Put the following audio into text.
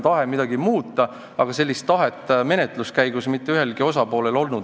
Tahet midagi muuta ei olnud menetluse käigus mitte ühelgi osapoolel.